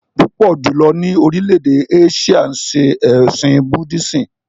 Púpọ̀ jùlọ ni orílè-èdè Áṣíà ṣe ẹ̀sìn Buddhism